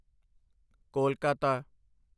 Kolkata